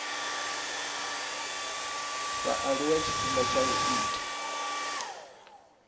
vhaaluwa tshifhinga tsha u ita